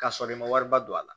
K'a sɔrɔ i ma wariba don a la